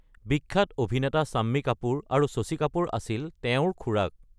বিখ্যাত অভিনেতা শম্মি কাপুৰ আৰু শশী কাপুৰ আছিল তেওঁৰ খুড়াক।